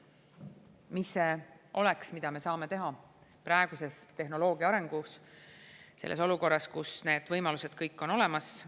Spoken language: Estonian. Mis see on, mida me saame teha praeguses tehnoloogia arengus, selles olukorras, kus need võimalused kõik on olemas?